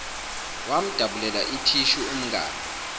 wamdabulela ithishu umngani